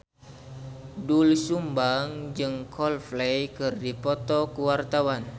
Doel Sumbang jeung Coldplay keur dipoto ku wartawan